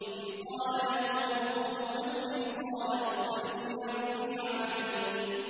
إِذْ قَالَ لَهُ رَبُّهُ أَسْلِمْ ۖ قَالَ أَسْلَمْتُ لِرَبِّ الْعَالَمِينَ